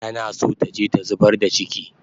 Tana so taje ta zubar da chiki